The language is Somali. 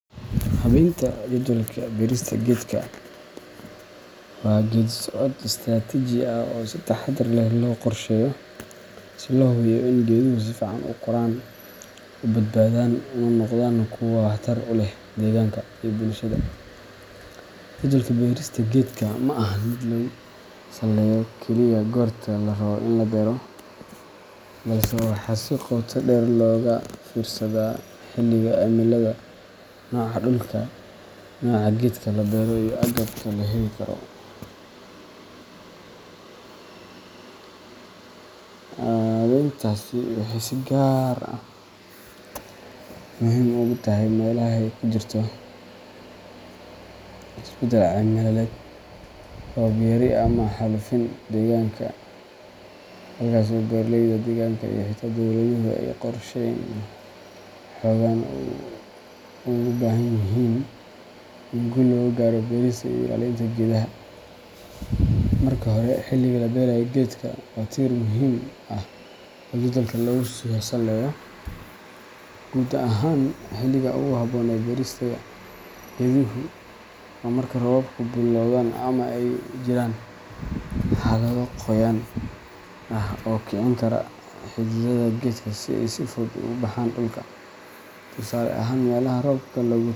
Habeynta jadwalka beerista geedka waa geeddi-socod istiraatiiji ah oo si taxaddar leh loo qorsheeyo si loo hubiyo in geeduhu si fiican u koraan, u badbaadaan, una noqdaan kuwo waxtar u leh deegaanka iyo bulshada. Jadwalka beerista geedka ma ahan mid lagu saleeyo kaliya goorta la rabo in la beero, balse waxaa si qoto dheer looga fiirsadaa xilliga cimilada, nooca dhulka, nooca geedka la beerayo, iyo agabka la heli karo. Habeyntaasi waxay si gaar ah muhiim ugu tahay meelaha ay ka jirto isbedel cimiladeed, roob yari, ama xaalufin deegaanka ah, halkaas oo beeraleyda, deegaanka iyo xitaa dowladuhu ay qorsheyn xooggan u baahan yihiin si guul looga gaaro beerista iyo ilaalinta geedaha. Marka hore, xilliga la beeraayo geedka waa tiir muhiim ah oo jadwalka lagu saleeyo. Guud ahaan, xilliga ugu habboon ee beerista geeduhu waa marka roobabku billowdaan ama ay jiraan xaalado qoyaan ah oo kicin kara xididdada geedka si ay si fudud ugu baxaan dhulka. Tusaale ahaan, meelaha roobka.